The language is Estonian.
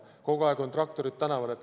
Kogu aeg on traktorid tänaval.